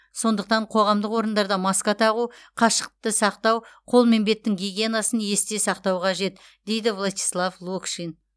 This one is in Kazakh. сондықтан қоғамдық орындарда маска тағу қашықтықты сақтау қол мен беттің гигиенасын есте сақтау қажет дейді вячеслав локшин